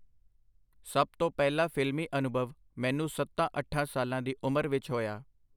ਸਭ ਤੋਂ ਪਹਿਲਾ ਫਿਲਮੀ ਅਨੁਭਵ ਮੈਨੂੰ ਸੱਤਾਂ-ਅੱਠਾਂ ਸਾਲਾਂ ਦੀ ਉਮਰ ਵਿਚ ਹੋਇਆ.